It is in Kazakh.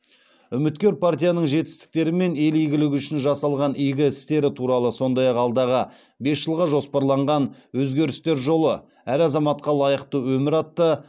үмікер партияның жетістіктері мен ел игілігі үшін жасаған игі істері туралы сондай ақ алдағы бес жылға жоспарланған өзгерістер жолы әр азаматқа лайықты өмір атты